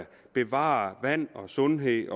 bevare vand og sundhed